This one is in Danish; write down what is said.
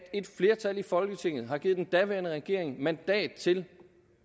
flertal i folketinget har givet den daværende regering mandat til